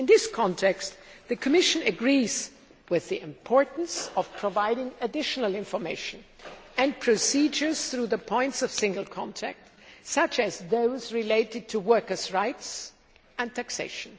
In this context, the Commission agrees with the importance of providing additional information and procedures through the points of single contact, such as those related to workers rights and taxation.